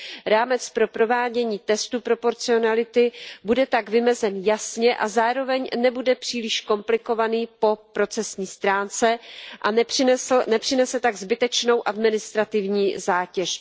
Rámec pro provádění testu proporcionality bude tak vymezen jasně a zároveň nebude příliš komplikovaný po procesní stránce a nepřinese tak zbytečnou administrativní zátěž.